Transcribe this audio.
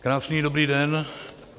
Krásný dobrý den.